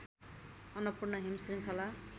अन्नपूर्ण हिम श्रृङ्खला